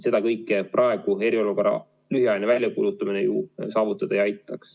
Seda kõike praegu eriolukorra lühiajaline väljakuulutamine ju saavutada ei aitaks.